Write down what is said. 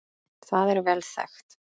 Það er vel þekkt.